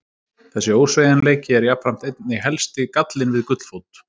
Þessi ósveigjanleiki er jafnframt einnig helsti gallinn við gullfót.